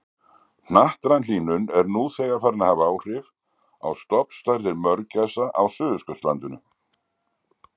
Hnattræn hlýnun er nú þegar farin að hafa áhrif á stofnstærðir mörgæsa á Suðurskautslandinu.